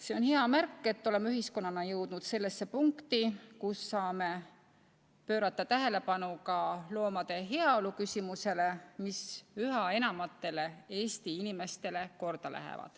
See on hea märk, et oleme ühiskonnana jõudnud punkti, kus saame pöörata tähelepanu ka loomade heaolu küsimusele, mis üha enamatele Eesti inimestele korda läheb.